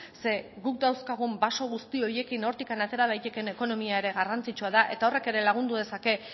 zeren eta guk dauzkagun baso guzti horiekin hortik atera daitekeen ekonomia ere garrantzitsua da eta horrek ere lagundu dezake